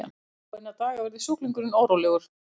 eftir fáeina daga verður sjúklingurinn órólegur